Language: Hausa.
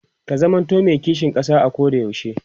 ka zamanto me kishin ƙasa a Koda yaushe